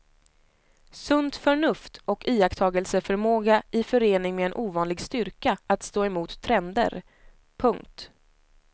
Sunt förnuft och iakttagelseförmåga i förening med en ovanlig styrka att stå emot trender. punkt